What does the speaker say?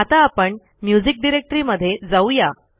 आता आपण म्युझिक डिरेक्टरीमध्ये जाऊ या